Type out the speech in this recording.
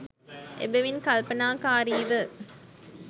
එබැවින් කල්පනාකාරීව